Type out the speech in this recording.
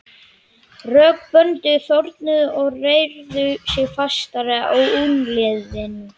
Rök böndin þornuðu og reyrðu sig fastar að úlnliðunum.